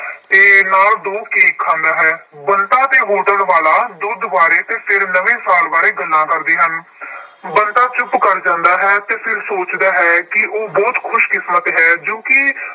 ਅਤੇ ਨਾਲ ਦੋ ਕੇਕ ਖਾਂਦਾ ਹੈ। ਬੰਤਾ ਅਤੇ ਵਾਲਾ ਦੁੱਧ ਬਾਰੇ ਅਤੇ ਫਿਰ ਨਵੇਂ ਸਾਲ ਬਾਰੇ ਗੱਲਾਂ ਕਰਦੇ ਹਨ। ਬੰਤਾ ਚੁੱਪ ਕਰ ਜਾਂਦਾ ਹੈ ਅਤੇ ਫਿਰ ਸੋਚਦਾ ਹੈ ਕਿ ਉਹ ਬਹੁਤ ਖੁਸ਼ਕਿਸਮਤ ਹੈ ਜੋ ਕਿ